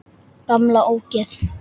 Gamla ógeð!